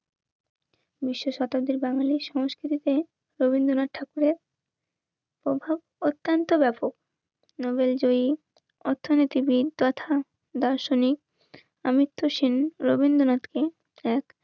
বিশ্ব শতাব্দীর বাঙালির সংস্কৃতিতে রবীন্দ্রনাথ ঠাকুরের প্রভাব অত্যন্ত ব্যাপক. নোবেল জয়ী, অর্থনীতিবিদ তথা দর্শনিক. অমিত সেন, রবীন্দ্রনাথকে. এক